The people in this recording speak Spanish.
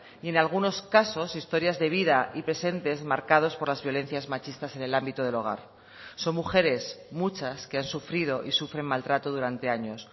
y en algunos casos historias de vida y presentes marcados por las violencias machistas en el ámbito del hogar son mujeres muchas que han sufrido y sufren maltrato durante años